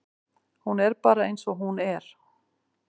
Hún er bara eins og hún er.